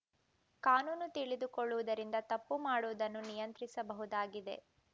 ಕಾನೂನು ತಿಳಿದುಕೊಳ್ಳವುದರಿಂದ ತಪ್ಪು ಮಾಡುವುದನ್ನು ನಿಯಂತ್ರಿಸಬಹುದಾಗಿದೆ